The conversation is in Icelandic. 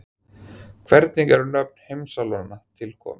Hvernig eru nöfn heimsálfanna til komin?